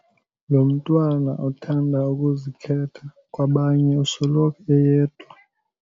Lo mntwana uthanda ukuzikhetha kwabanye usoloko eyedwa.